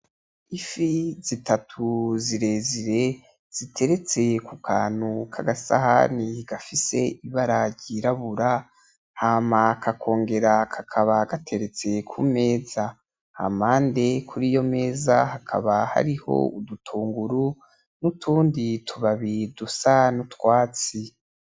Ifi zitatu zirezire ziteretse kukantu kagasahani gafise ibara ryirabura hama kakongera kakaba gateretse kumeza hampande kuriyo meza hakaba hari udutunguru nutundi tubabi dusa nutwatsi,